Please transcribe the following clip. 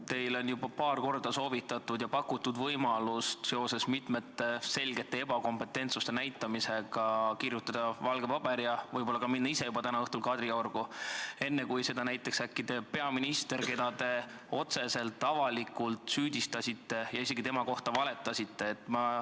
Teile on juba paar korda soovitatud ja pakutud võimalust, et seoses mitmel korral selge ebakompetentsuse näitamisega võiksite te võtta valge paberi ja võib-olla minna ise täna õhtul Kadriorgu, enne kui seda teeb äkki peaminister, keda te otseselt avalikult süüdistasite ja isegi tema kohta valetasite.